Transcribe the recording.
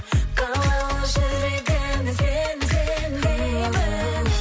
қалауы жүрегімнің сен сен деймін